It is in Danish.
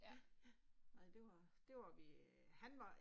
Ja, ja, ej det var, det var vi, han var